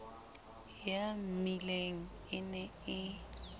ya mmileng e ne e